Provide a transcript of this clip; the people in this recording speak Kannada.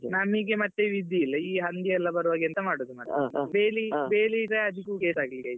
ನನಿಗೆ ಮತ್ತೆ ವಿಧಿಯಿಲ್ಲ ಈ ಹಂದಿಯೆಲ್ಲ ಬರುವಾಗ ಎಂತ ಮಾಡುದ್ದು ಮತ್ತೆ . ಬೇಲಿ ಬೇಲಿ ಇದ್ರೆ ಅದುಕ್ಕು case ಹಾಕ್ಲಿಕ್ಕೆ ಆಯಿತು ಮತ್ತೆ.